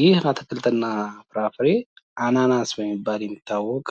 ይህ አትክልት እና ፍራፍሬ አናናስ በመባል የሚታወቅ